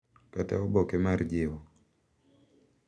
Kata oboke mar jiwo, .